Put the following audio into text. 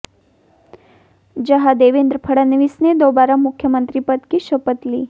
जहां देवेन्द्र फडणवीस ने दोबारा मुख्यमंत्री पद की शपथ ली